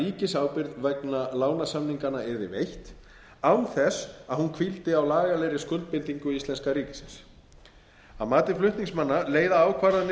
ríkisábyrgð vegna lánasamninganna yrði veitt án þess að hún hvíldi á lagalegri skuldbindingu íslenska ríkisins að mati flutningsmanna leiða ákvarðanir